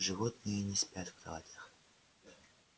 животные не спят в кроватях